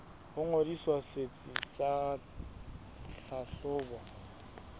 ho ngodisa setsi sa tlhahlobo